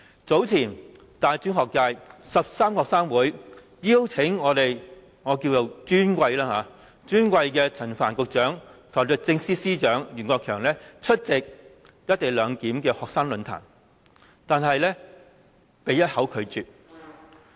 早前大專學界13個學生會邀請我們"尊貴"的陳帆局長和律政司司長袁國強出席"一地兩檢"的學生論壇，但他們一口拒絕。